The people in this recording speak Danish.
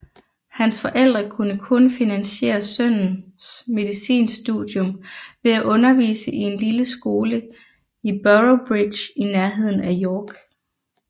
Hans forældre kunne kun finansiere sønnens medicinstudium ved at undervise i en lille skole i Boroughbridge i nærheden af York